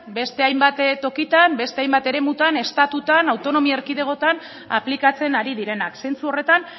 beste hainbat tokitan beste hainbat eremutan estatutan autonomia erkidegotan aplikatzen ari direnak zentzu horretan